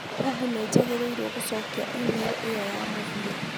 Google nĩ njagĩrĩirwo nĩ gũcokia email ĩyo ya mũthia